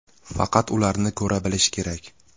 Faqat ularni ko‘ra bilish kerak.